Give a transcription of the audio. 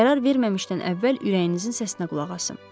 Qərar verməmişdən əvvəl ürəyinizin səsinə qulaq asın.